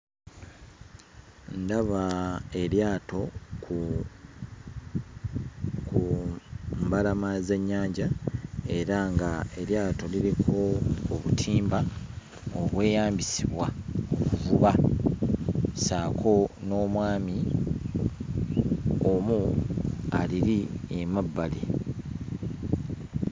Ndaba eryato ku ku mbalama z'ennyanja era ng'eryato liriko obutimba obweyambisibwa mu kuvuba ssaako n'omwami omu aliri emabbali.